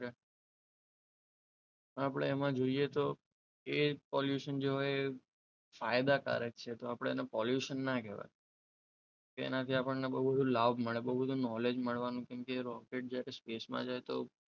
આપણે એમાં જોઈએ તો એ pollution જે હોય એ ફાયદાકારક છે તો આપણે એને pollution ના કહેવાય તેનાથી આપણને બહુ બધું લાભ મળે બહુ બધું knowledge મળવાનું જેમ કે રોકેટ જ્યારે સ્પેસમાં જાય તો,